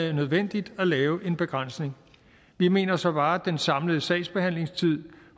er nødvendigt at lave en begrænsning vi mener så bare at den samlede sagsbehandlingstid